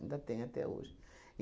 Ainda tem até hoje.